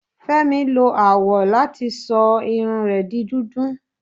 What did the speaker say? Fẹmi lo awọ lati sọ irun rẹ di dudu